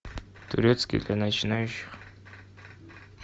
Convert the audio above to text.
турецкий для начинающих